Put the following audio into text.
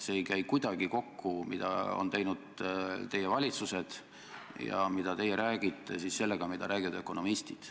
See, mida on teinud teie valitsused ja mida teie räägite, ei käi kuidagi kokku sellega, mida räägivad ökonomistid.